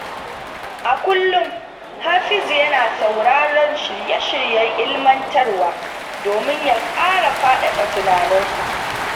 A kullum, Hafizu yana sauraron shirye-shiryen ilimantarwa domin ya ƙara faɗaɗa tunaninsa.